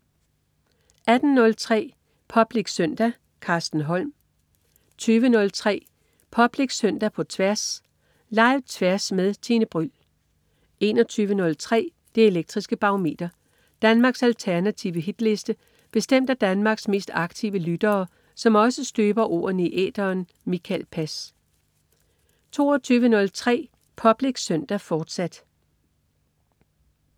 18.03 Public Søndag. Carsten Holm 20.03 Public Søndag på Tværs. Live-Tværs med Tine Bryld 21.03 Det elektriske Barometer. Danmarks alternative hitliste bestemt af Danmarks mest aktive lyttere, som også støber ordene i æteren. Mikael Pass 22.03 Public Søndag, fortsat